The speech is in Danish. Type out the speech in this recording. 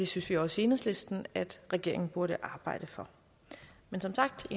synes vi også i enhedslisten at regeringen burde arbejde for men som sagt